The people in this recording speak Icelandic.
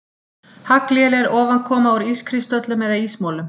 Haglél er ofankoma úr ískristöllum eða ísmolum.